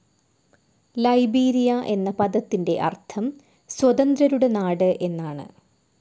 Liberia എന്ന പദത്തിൻ്റെ അർത്ഥം സ്വതന്ത്രരുടെ നാട് എന്നാണ്.